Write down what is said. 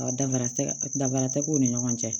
Ɔ danfara tɛ danfara tɛ k'u ni ɲɔgɔn cɛ